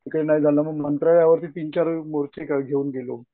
काही नाही झालं मग नंतर यावर तीनचार मोर्चे घेऊन गेलो.